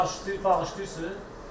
Bağışlayır, bağışlayırsız?